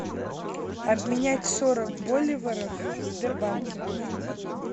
обменять сорок боливаров в сбербанке